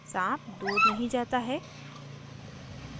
साँप दूर नहीं जाता है